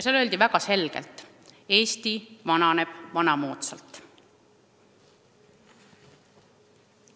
Seal öeldi väga selgelt: Eesti vananeb vanamoodsalt.